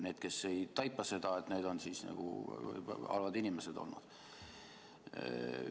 Need, kes seda ei taipa, on nagu halvad inimesed olnud.